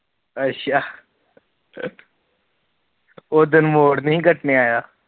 ਅੱਛਾ ਉਦਣ ਮੋੜ ਨੀ ਕੱਟਣ ਆਇਆ